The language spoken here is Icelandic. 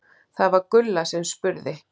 Það var Gulla sem spurði.